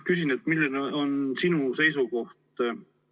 Küsin, milline on sinu seisukoht.